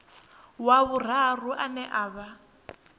wa vhuraru ane a vha